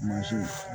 Muso